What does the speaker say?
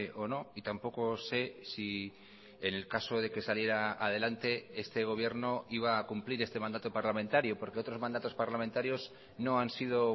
o no y tampoco sé si en el caso de que saliera adelante este gobierno iba a cumplir este mandato parlamentario porque otros mandatos parlamentarios no han sido